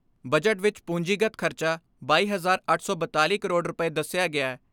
Budget ਵਿਚ ਪੂੰਜੀਗਤ ਖਰਚਾ ਬਾਈ ਹਜਾਰ ਅੱਠ ਸੌ ਬਿਆਲੀ ਕਰੋੜ ਰੁਪਏ ਦਸਿਆ ਗਿਐ।